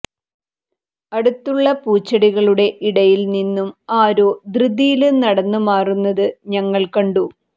അടുത്തുള്ള പൂച്ചെടികളുടെ ഇടയില് നിന്നും ആരോ ധൃതിയില് നടന്ന് മാറുന്നത് ഞങ്ങള് കണ്ടു